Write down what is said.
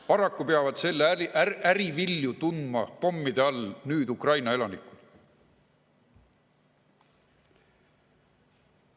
Paraku peavad selle äri vilju pommide all tundma nüüd Ukraina elanikud.